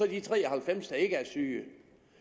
de tre og halvfems der ikke er syge